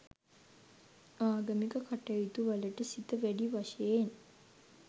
ආගමික කටයුතුවලට සිත වැඩි වශයෙන්